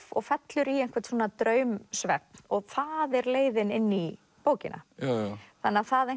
og fellur í einhvern svona draumsvefn og það er leiðin inn í bókina þannig að það